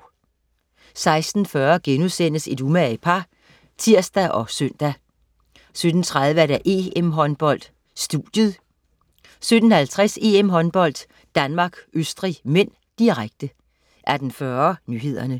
16.40 Et umage par* (tirs og søn) 17.30 EM-Håndbold: Studiet 17.50 EM-Håndbold: Danmark-Østrig (m), direkte 18.40 Nyhederne